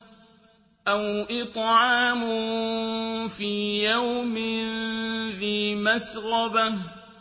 أَوْ إِطْعَامٌ فِي يَوْمٍ ذِي مَسْغَبَةٍ